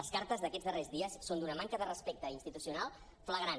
les cartes d’aquests darrers dies són d’una manca de respecte institucional fla·grant